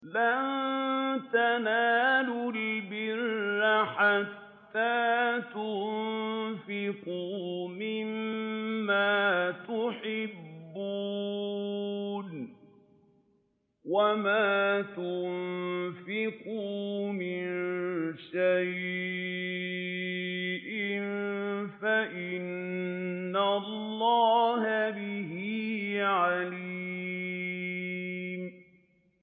لَن تَنَالُوا الْبِرَّ حَتَّىٰ تُنفِقُوا مِمَّا تُحِبُّونَ ۚ وَمَا تُنفِقُوا مِن شَيْءٍ فَإِنَّ اللَّهَ بِهِ عَلِيمٌ